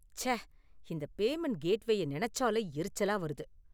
ச்ச, இந்த பேமண்ட் கேட்வேய நெனச்சாலே எரிச்சலா வருது.